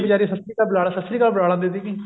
ਵਿਚਾਰੀ ਸਤਿ ਸ਼੍ਰੀ ਅਕਾਲ ਸਤਿ ਸ਼੍ਰੀ ਅਕਾਲ ਬੁਲਾ ਲੈਂਦੀ ਸੀਗੀ